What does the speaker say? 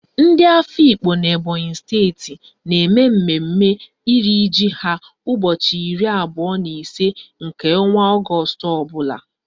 Ndị Afikpo n'Ebonyi steeti na-eme mmemme iri ji ha ụbọchị iri abụọ na ise nke ọnwa Ọgọọst ọbụla